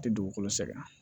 A tɛ dugukolo sɛgɛn